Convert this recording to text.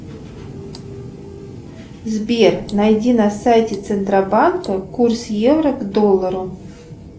сбер найди на сайте центробанка курс евро к доллару